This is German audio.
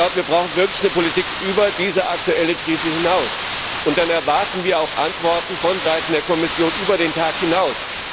Wir brauchen wirklich eine Politik über diese aktuelle Krise hinaus, und dann erwarten wir auch Antworten von der Kommission über den Tag hinaus.